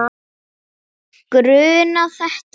Grunað þetta?